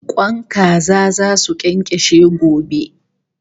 Kwan kaza zasu kyankashe gobe